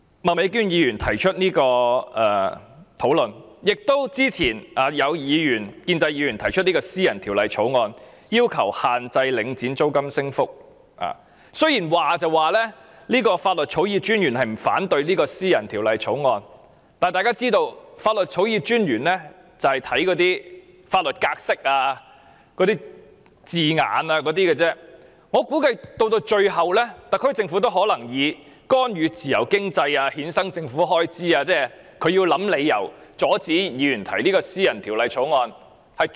麥美娟議員今天提出這項議案辯論，以及之前有建制派議員曾提出私人條例草案，要求限制領展的租金升幅，雖然法律草擬專員不反對該項私人條例草案，但大家也知道，法律草擬專員只着重法律格式和用字，我估計特區政府最後也會以干預自由經濟、衍生政府開支等理由，阻止議員提出私人條例草案。